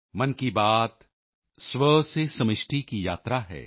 ਮਨ ਕੀ ਬਾਤ ਸਵ ਸੇ ਸਮਿਸ਼ਟੀ ਕੀ ਯਾਤਰਾ ਹੈ